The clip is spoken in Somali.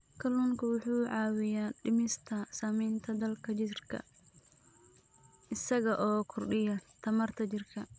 Kalluunku waxa uu caawiyaa dhimista saamaynta daalka jidhka isaga oo kordhiya tamarta jidhka.